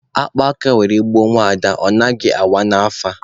A kpaa akpa were gbuo nwaada, ọ naghị awa n'afa.